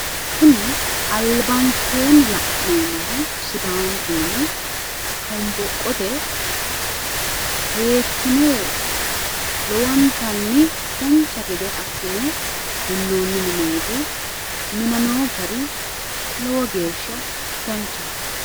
Kuni albankeennni la'neemmohu sidaanchu mini shonboqqote seekkine lowontanni dancha gede assine minnoonni mineeti minameewo gari lowo geeshsha danchaho.